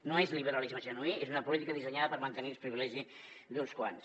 no és liberalisme genuí és una política dissenyada per mantenir els privilegis d’uns quants